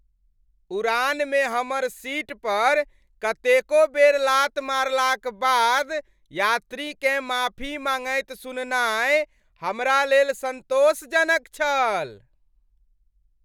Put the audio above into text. उड़ानमे हमर सीट पर कतेको बेर लात मारलाक बाद यात्रीकेँ माफी माँगैत सुननाय हमरा लेल सन्तोषजनक छल।